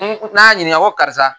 N ko karisa.